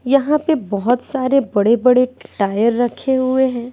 यहां पे बहोत सारे बड़े बड़े टायर रखे हुए हैं।